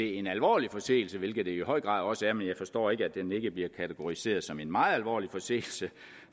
en alvorlig forseelse hvilket det i høj grad også er men jeg forstår ikke at den ikke bliver kategoriseret som en meget alvorlig forseelse